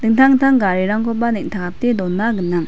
dingtang dingtang garirangkoba neng·takate dona gnang.